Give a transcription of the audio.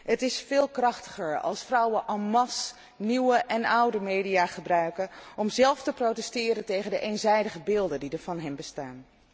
Het is veel krachtiger als vrouwen en masse nieuwe en oude media gebruiken om zelf te protesteren tegen de eenzijdige beelden die er van hen bestaan.